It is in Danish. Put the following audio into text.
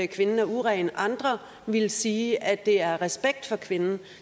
kvinden er uren andre ville sige at det er af respekt for kvinden